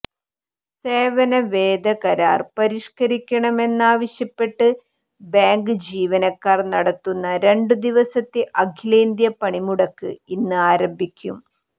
സേവന വേതന കരാർ പരിഷ്കരിക്കണമെന്നാവശ്യപ്പെട്ട് ബാങ്ക് ജീവനക്കാർ നടത്തുന്ന രണ്ടുദിവസത്തെ അഖിലന്ത്യാ പണിമുടക്ക് ഇന്ന് ആരംഭിക്കും